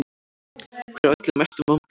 Hver olli mestum vonbrigðum?